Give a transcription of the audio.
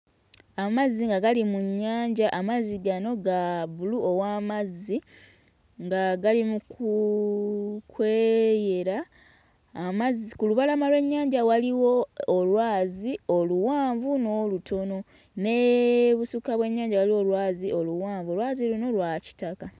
Amazzi nga gali mu nnyanja, amazzi gano ga bbulu ow'amazzi nga gali mu ku kweyera, amazzi ku lubalama lw'ennyanja waliwo olwazi oluwanvu n'olutono. N'ebusukka w'ennyanja waliwo olwazi oluwanvu olwazi luno lwa kitaka.